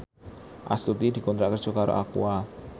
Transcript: Astuti dikontrak kerja karo Aqua